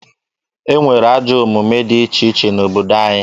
E nwere ajọ omume dị iche iche n'obodo anyị.